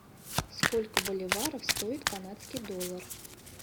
сколько боливаров стоит канадский доллар